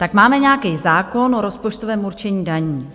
Tak máme nějaký zákon o rozpočtovém určení daní.